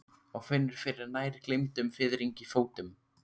Og finnur fyrir nær gleymdum fiðringi í fótum.